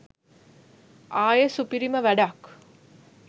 ආයෙ සුපිරිම වැඩක් .